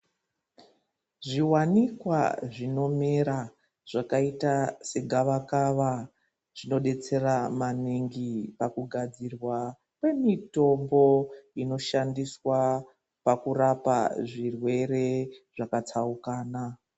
Zviwanikwa zvinomera zvakaita segavakava zvinodetsera maningi pakugadzirwa kwemitombo inoshandiswa pakurapa zvirwere zvakatsaukana.